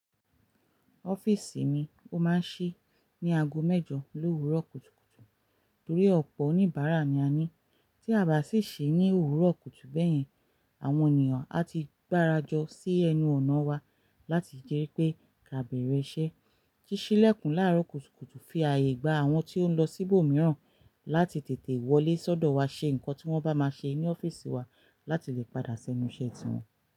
Ọ́fíìsì mi ó máa ń ṣí ní ago mẹ́jọ lo owuro kútukùtù torí ọ̀pọ̀ oníbàárà ni a ní tí a bá sì ṣí ní òwuro kutu bẹ́ẹ̀ yẹn àwọn ènìyàn á ti gbárajọ sí ẹnu ọ̀nà wa láti jẹ́ pé kí a bẹ̀rẹ̀ iṣẹ́. Síṣí lẹ́kùn láàárọ̀ kùtùkùtù fi ààyè gba àwọn tí ó ń lọ síbò mìíràn láti tètè wọlé sọ́dọ̀ wa ṣe nǹkan tí wọ́n bá máa ṣe ní ọ́fíìsì wa láti lè padà ṣẹnu iṣẹ́ tiwọn.